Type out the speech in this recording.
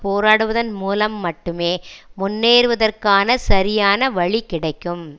போராடுவதன் மூலம் மட்டுமே முன்னேறுவதற்கான சரியான வழிகிடைக்கும்